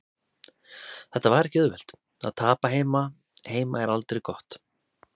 Þetta var ekki auðvelt, að tapa heima heima er aldrei gott.